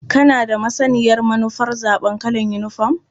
Kana da masaniyar manufar zaɓar kalar yinifom?